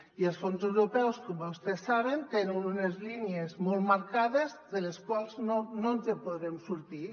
i els fons europeus com vostès saben tenen unes línies molt marcades de les quals no ens podrem sortir